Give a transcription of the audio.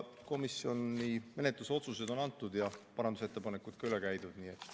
Komisjoni menetluslikud otsused on ette kantud ja parandusettepanekud üle käidud.